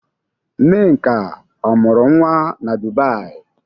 Nneka, ọ mụrụ nwa na Dubai?